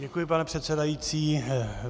Děkuji, pane předsedající.